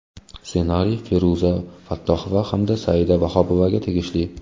Ssenariy Feruza Fattohova hamda Saida Vahobovaga tegishli.